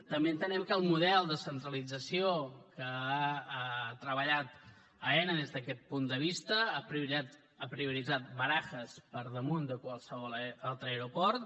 també entenem que el model de centralització que ha treballat aena des d’aquest punt de vista ha prioritzat barajas per damunt de qualsevol altre aeroport